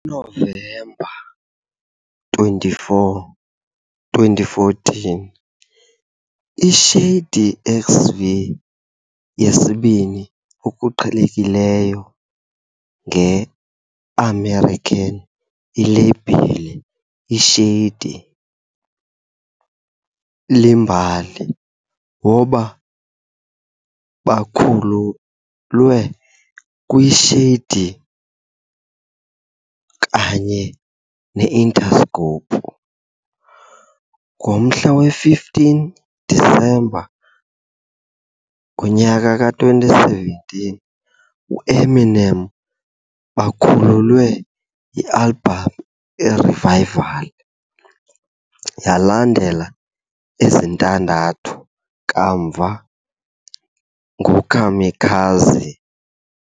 Ngonovemba 24, 2014, ShadyXV, yesibini okuqhelekileyo nge-i-american ilebhile Shady Iimbali, waba bakhululwe kwi Shady kwaye Interscope. Ngomhla we-15 disemba, ngowama-2017, Eminem bakhululwe i-album Revival, yalandela ezintandathu kamva ngo Kamikaze.